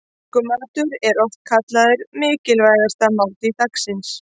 Morgunmatur er oft kallaður mikilvægasta máltíð dagsins.